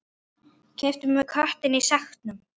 Keyptum við köttinn í sekknum?